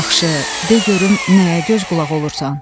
Yaxşı, de görüm nəyə göz qulaq olursan?